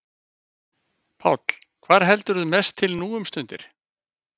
Páll: Hvar heldurðu mest til nú um stundir?